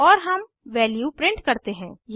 और हम value print करते हैं